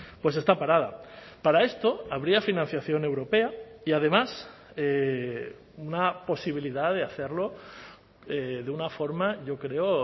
pues está parada para esto habría financiación europea y además una posibilidad de hacerlo de una forma yo creo